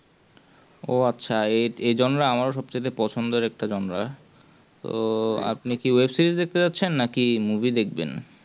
ও আচ্ছা একজন রা আমার সবচেয়ে পছন্দের একটা জনরা তো আপনি কি web-series দেখতে চাইছেন নাকি movie দেখবেন